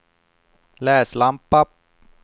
läslampa